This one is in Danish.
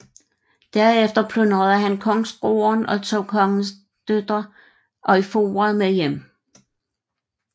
Derefter plyndrede han kongsgården og tog kongens datter Eyfura med hjem